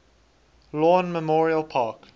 lawn memorial park